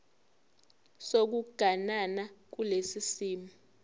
sokuganana kulesi simo